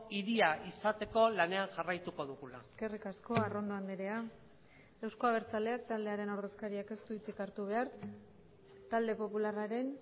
hiria izateko lanean jarraituko dugula eskerrik asko arrondo andrea euzko abertzaleak taldearen ordezkariak ez du hitzik hartu behar talde popularraren